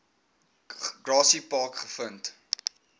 grassy park gevind